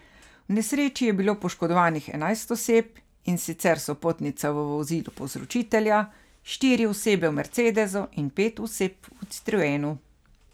V nesreči je bilo poškodovanih enajst oseb, in sicer sopotnica v vozilu povzročitelja, štiri osebe v mercedesu, in pet oseb v citroenu.